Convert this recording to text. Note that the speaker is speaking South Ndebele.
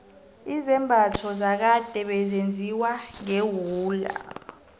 izambatho zakade bezenziwa ngewula